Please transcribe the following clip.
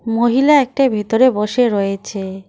মহিলা একটা ভিতরে বসে রয়েছে।